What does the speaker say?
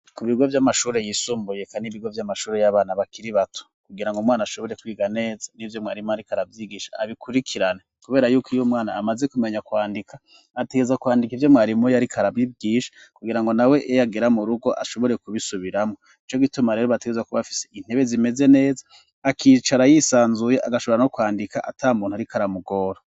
Ku bigo vy'amashuri yisumbuye, kandi ibigo vy'amashuri y'abana bakiri bato, kugira ngo umwana ashobore kwiga neza n'ivyo mwarimu ariko arabigisha abikurikirane, kubera yuko iy'umwana amaze kumenya kwandika ategerezwa kwandika ivyo mwarimu yariko arabigisha, kugira ngo nawe niyagera mu rugo ashobore kubisubiramwo, nico gituma rero bategerezwa kuba bafise intebe zimeze neza, akicara yisanzuye, agashobora no kwandika atamuntu ariko aramugora.